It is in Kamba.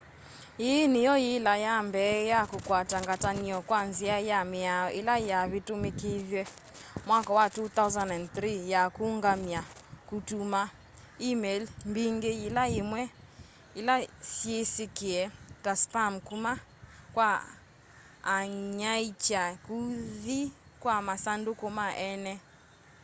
yiĩ nĩyo yila ya mbee ya kũkwata ngatanio kwa nzĩa ya mĩao ila yavitumikithiwe mwaka wa 2003 ya kuũngamya kũtũma e-mail mbingĩ yĩla yĩmwe ila syĩsikie ta spam kuma kwa anyaiicha kũthi kwa masandũkũ ma eene